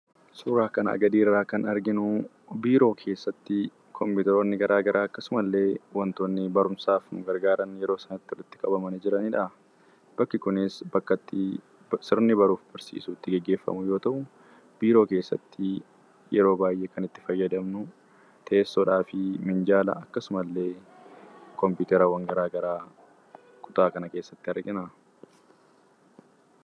Suuraa kanaa gadiirraa kan arginu biiroo keessatti kompiitaroonni garaagaraa akkasumallee wantoonni barumsaaf nu gargaaran yeroo isaan walitti qabamanii jiranidha. Bakki kunis bakka sirni barumsaa itti gaggeeffamu yoo ta'u, biiroo keessatti yeroo baay'ee kan itti fayyadamnu teessoodhaa fi miinjala akkasumallee kompiitaraawwan garaagaraa kutaa kana keessatti argina.